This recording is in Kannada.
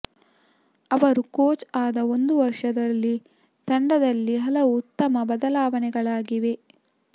ಅವರು ಕೋಚ್ ಆದ ಒಂದು ವರ್ಷದಲ್ಲಿ ತಂಡದಲ್ಲಿ ಹಲವು ಉತ್ತಮ ಬದಲಾವಣೆಗಳಾಗಿವೆ